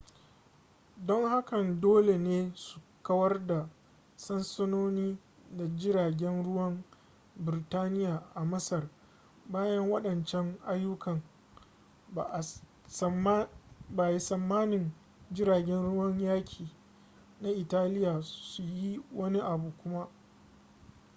don hakan dole ne su kawar da sansanoni da jiragen ruwan birtaniya a masar bayan waɗancan ayyukan ba a tsammanin jiragen ruwan yaƙi na italiya su yi wani abu kuma